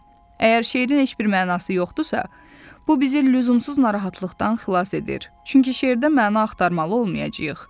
Əgər şeirin heç bir mənası yoxdusa, bu bizi lüzumsuz narahatlıqdan xilas edir, çünki şeirdə məna axtarmalı olmayacağıq.